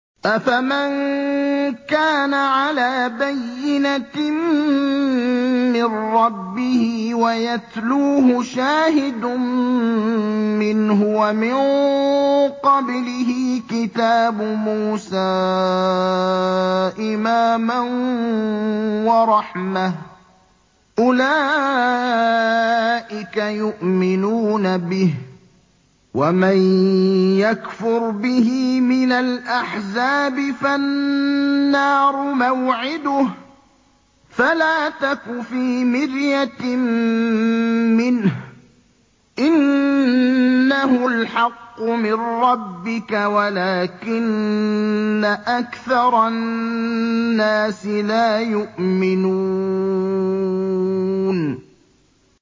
أَفَمَن كَانَ عَلَىٰ بَيِّنَةٍ مِّن رَّبِّهِ وَيَتْلُوهُ شَاهِدٌ مِّنْهُ وَمِن قَبْلِهِ كِتَابُ مُوسَىٰ إِمَامًا وَرَحْمَةً ۚ أُولَٰئِكَ يُؤْمِنُونَ بِهِ ۚ وَمَن يَكْفُرْ بِهِ مِنَ الْأَحْزَابِ فَالنَّارُ مَوْعِدُهُ ۚ فَلَا تَكُ فِي مِرْيَةٍ مِّنْهُ ۚ إِنَّهُ الْحَقُّ مِن رَّبِّكَ وَلَٰكِنَّ أَكْثَرَ النَّاسِ لَا يُؤْمِنُونَ